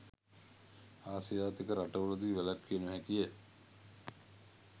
ආසියාතික රටවලදී වැළැක්විය නොහැකිය.